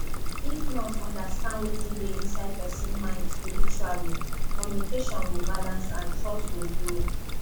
if nurse understand wetin dey inside person mind spiritually communication go balance and trust go grow